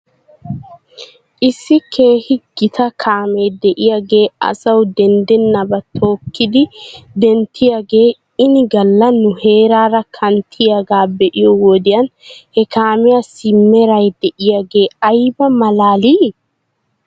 Issi keehi gita kaame de'iyaagee asaw deddenabaa tookkidi denttiyaagee ini gala nu heeraara kanttiyaagaa be'iyoo wodiyan he kaamiyaassi mera de'iyaagee ayba malaalii!